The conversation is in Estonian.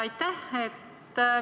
Aitäh!